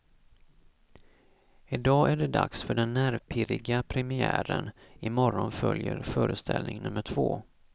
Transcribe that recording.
Idag är det dags för den nervpirriga premiären, i morgon följer föreställning nummer två.